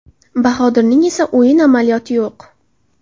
Bahodirning esa o‘yin amaliyoti yo‘q.